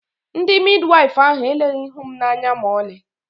ndi Midiwaifu ahụ eleghị ihu m anya ma ọlị